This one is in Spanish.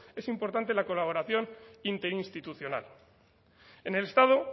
es importante la colaboración interinstitucional en el estado